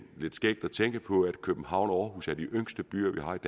lidt skægt at tænke på at københavn og aarhus er de yngste byer vi har